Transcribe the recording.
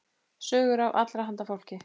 Sögur af allra handa fólki.